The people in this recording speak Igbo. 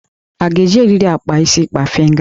A ga-eji eriri akpa isi kpafịnga?